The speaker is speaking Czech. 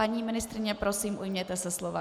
Paní ministryně, prosím, ujměte se slova.